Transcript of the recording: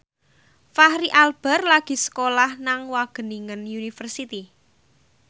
Fachri Albar lagi sekolah nang Wageningen University